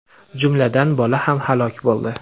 jumladan bola ham halok bo‘ldi.